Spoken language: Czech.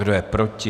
Kdo je proti?